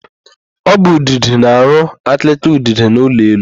Ọ bụ udide na-arụ akịrịka udide n'elu ụlọ.